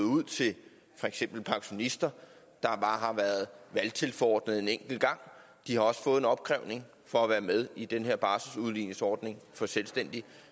ud til for eksempel pensionister der bare har været valgtilforordnede en enkelt gang de har også fået en opkrævning for at være med i den her barselsudligningsordning for selvstændige